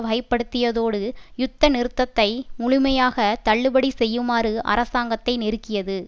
வகைப்படுத்தியதோடு யுத்த நிறுத்தத்தை முழுமையாக தள்ளுபடி செய்யுமாறு அரசாங்கத்தை நெருக்கியது